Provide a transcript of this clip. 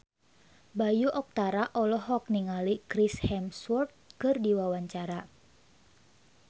Bayu Octara olohok ningali Chris Hemsworth keur diwawancara